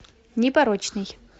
непорочный